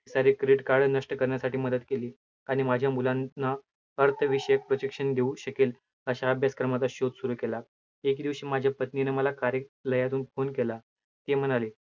सारे credit card नष्ट करण्यासाठी मदत केली आणि माझ्या मुलांना अर्थ विषयक projection देऊ शकेल, अश्या अभ्यास क्रमाचा शोध सुरू केला. एके दिवशी माझ्या पत्नीने मला कार्यलयातून phone केला, ती म्हणाली